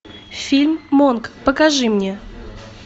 фильм монк покажи мне